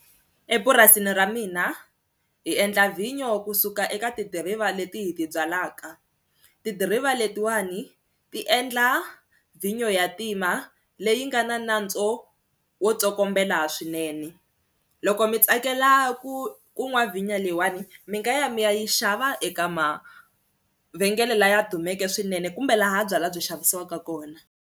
Epurasini ra mina hi endla vhinyo kusuka eka tidiriva leti hi ti byalaka, tidiriva letiwani ti endla vhinyo ya ntima leyi nga na nantswo wo tsokombela swinene loko mi tsakela ku ku nwa vhinyo leyiwani mi nga ya mi ya yi xava eka mavhengele laya dumeke swinene kumbe laha byalwa byi xavisiwaka kona.